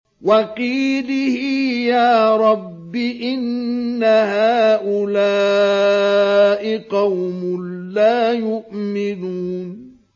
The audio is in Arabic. وَقِيلِهِ يَا رَبِّ إِنَّ هَٰؤُلَاءِ قَوْمٌ لَّا يُؤْمِنُونَ